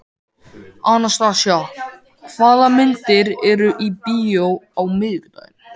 Anastasía, hvaða myndir eru í bíó á miðvikudaginn?